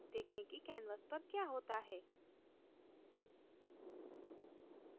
देखें कि canvas पर क्या होता है